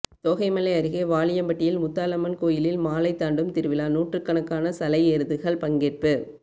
தோகைமலை அருகே வாலியம்பட்டியில் முத்தாலம்மன் கோயிலில் மாலை தாண்டும் திருவிழா நூறுக்கணக்கான சலை எருதுகள் பங்கேற்பு